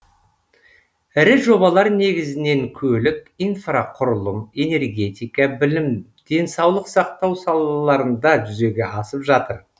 ірі жобалар негізінен көлік инфрақұрылым энергетика білім денсаулық сақтау салаларында жүзеге асып жатыр